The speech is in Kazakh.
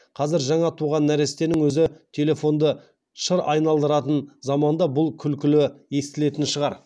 қазір жаңа туған нәрестенің өзі телефонды шыр айналдыратын заманда бұл күлкілі естілетін шығар